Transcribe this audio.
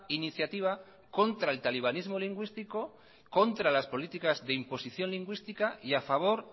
iniciativa contra el talibanismo lingüístico contra las políticas de imposición lingüística y a favor